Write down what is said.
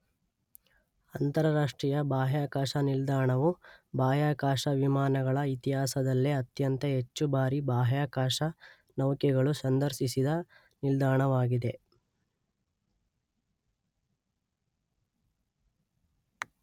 ಅಂತರರಾಷ್ಟ್ರೀಯ ಬಾಹ್ಯಾಕಾಶ ನಿಲ್ದಾಣವು ಬಾಹ್ಯಾಕಾಶ ವಿಮಾನಗಳ ಇತಿಹಾಸದಲ್ಲೇ ಅತ್ಯಂತ ಹೆಚ್ಚು ಬಾರಿ ಬಾಹ್ಯಾಕಾಶ ನೌಕೆಗಳು ಸಂದರ್ಶಿಸಿದ ನಿಲ್ದಾಣವಾಗಿದೆ.